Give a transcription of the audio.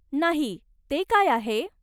नाही, ते काय आहे?